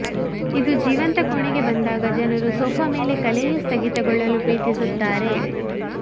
ಇದು ಜೀವಂತ ಕೋಣೆಗೆ ಬಂದಾಗ ಜನರು ಸೋಫಾ ಮೇಲೆ ಕಲೆಯು ಸ್ಥಗಿತಗೊಳ್ಳಲು ಪ್ರೀತಿಸುತ್ತಾರೆ